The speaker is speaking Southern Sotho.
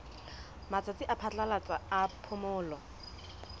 matsatsi a phatlalatsa a phomolo